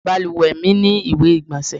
Balùwẹ mi ni iwe-igbọnsẹ igbonse